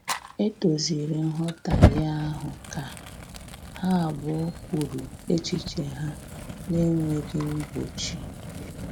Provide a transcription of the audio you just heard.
E doziri nghọtahie ahụ ka ha abụọ kwuru echiche ha na-enweghị mgbochi